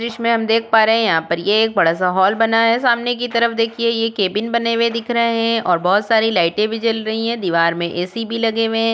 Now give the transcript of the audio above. दृश्य में हम देख पा रहे हैं यहाँ पर ये एक बड़ा सा हॉल बना है। । सामने की तरफ देखिए ये केबिन बने हुए दिख रहे हैं और बोहोत सारी लाइटें भी जल रही हैं। दीवार में ए.सी. भी लगे हुए हैं।